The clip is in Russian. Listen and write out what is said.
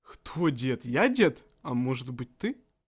кто дед я дед а может быть ты